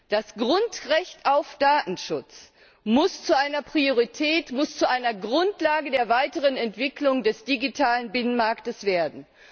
Das Grundrecht auf Datenschutz muss zu einer Priorität, muss zu einer Grundlage der weiteren Entwicklung des digitalen Binnenmarktes werden.